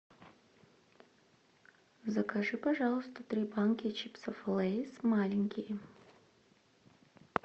закажи пожалуйста три банки чипсов лейс маленькие